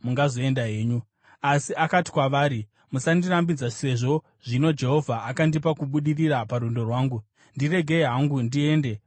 Asi akati kwavari, “Musandirambidza, sezvo zvino Jehovha akandipa kubudirira parwendo rwangu. Ndiregei hangu ndiende kuna tenzi wangu.”